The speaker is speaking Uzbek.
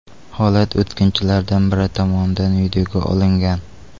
Holat o‘tkinchilardan biri tomonidan videoga olingan.